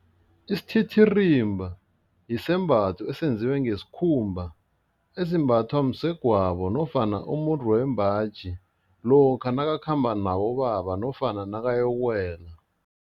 Isititirimba yisembatho esenziwe ngesikhumba esimbathwa msegwabo nofana umuntu wembaji lokha nakakhamba nabobaba nofana nakayokuwela.